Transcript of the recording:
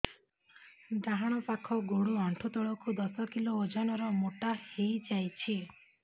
ଡାହାଣ ପାଖ ଗୋଡ଼ ଆଣ୍ଠୁ ତଳକୁ ଦଶ କିଲ ଓଜନ ର ମୋଟା ହେଇଯାଇଛି